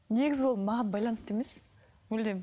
негізі ол маған байланысты емес мүлдем